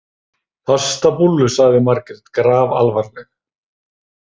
Pastabúllu, sagði Margrét grafalvarleg.